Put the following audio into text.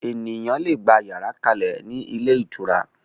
Ènìyàn lè gbà yàrá kalẹ ni ilé ìtura